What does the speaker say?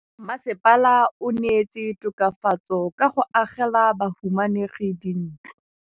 Mmasepala o neetse tokafatsô ka go agela bahumanegi dintlo.